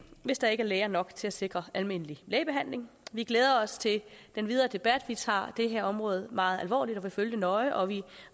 hvis der ikke er læger nok til at sikre almindelig lægebehandling vi glæder os til den videre debat vi tager det her område meget alvorligt og vil følge det nøje og vi